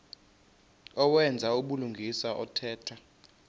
owenza ubulungisa othetha